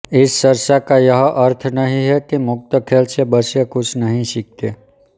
इस चर्चा का यह अर्थ नहीं है कि मुक्त खेल से बच्चे कुछ नहीं सीखते